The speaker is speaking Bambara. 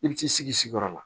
I bi t'i sigi si yɔrɔ la